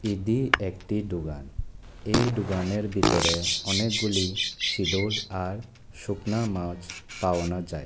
এডি একটি দোকান এই দোকানের ভিতরে অনেকগুলি সিডুল আর শুকনা মাছ পাওয়ানা যায়।